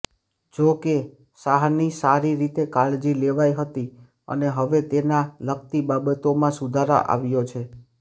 જોકે સાહાની સારી રીતે કાળજી લેવાઇ હતી અને હવે તેના લગતી બાબતોમાં સુધાર આવ્યો છે